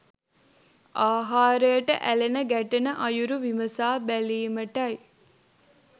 ආහාරයට ඇලෙන ගැටෙන අයුරු විමසා බැලීමටයි.